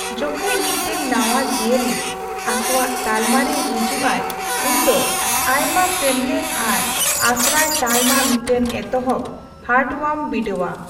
ᱡᱚᱠᱷᱮᱡ ᱢᱤᱫᱴᱟᱝ ᱱᱟᱣᱟ ᱡᱤᱭᱟᱹᱞᱤ ᱟᱠᱚᱣᱟᱜ ᱛᱟᱞᱢᱟᱨᱮ ᱦᱤᱡᱩᱜᱼᱟᱭ ᱩᱱᱫᱚ ᱟᱹᱭᱢᱟ ᱥᱮᱢᱞᱮᱫ ᱟᱨ ᱟᱥᱨᱟᱭ ᱛᱟᱞᱢᱟ ᱢᱤᱫᱴᱟᱝ ᱮᱛᱚᱦᱚᱵ ᱦᱟᱨᱴᱳᱣᱟᱨᱢ ᱵᱤᱰᱟᱹᱣᱟ ᱾